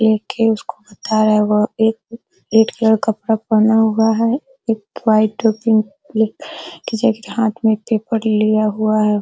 एक है उसको बता रहा है वह एक रेड कलर कपड़ा पहना हुआ है एक व्हाइट और पिंक कलर की जैकेट हाथ में पेपर लिया हुआ है।